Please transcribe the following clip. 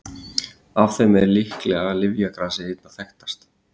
af þeim er líklega lyfjagrasið einna þekktast